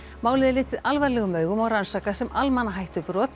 málið er litið alvarlegum augum og rannsakað sem